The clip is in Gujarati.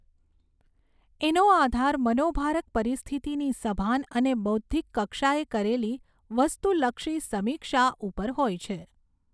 એનો આધાર મનોભારક પરિસ્થિતિની સભાન અને બૌદ્ધિક કક્ષાએ કરેલી વસ્તુલક્ષી સમીક્ષા ઉપર હોય છે.